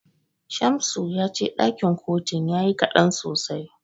Shamsu ya ce ɗakin kotun yayi kaɗan sosai.